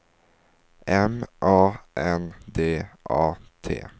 M A N D A T